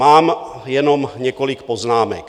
Mám jenom několik poznámek.